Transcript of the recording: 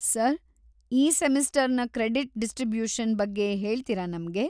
Sir, ಈ ಸೆಮಿಸ್ಟರ್ನ credit distribution ಬಗ್ಗೆ ಹೇಳ್ತೀರಾ ನಮ್ಗೆ?